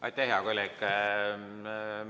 Aitäh, hea kolleeg!